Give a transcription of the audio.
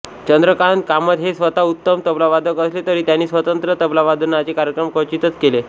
चंद्रकांत कामत हे स्वतः उत्तम तबलावादक असले तरी त्यांनी स्वतंत्र तबलावादनाचे कार्यक्रम क्वचितच केले